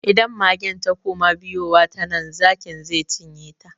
Idan magen ta kuma biyowa ta nan, zakin ze cinye ta.